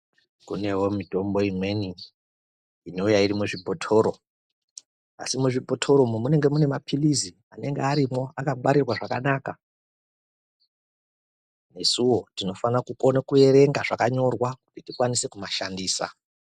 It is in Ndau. Kunevo mitombo imweni inouya iri muzvibhotoro. Asi muzvibhotoro umu munenge mune maphirizi anenga arimwo akabarirwa zvakanaka. Nesuvo tinofane kukona kuverenga zvakanyorwa kuti tikwanise kumashandisa.